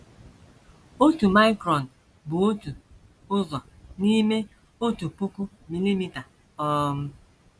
Otu micron bụ otu ụzọ n’ime otu puku milimita um.